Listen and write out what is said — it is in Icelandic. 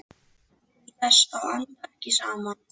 Til þess að anda ekki saman.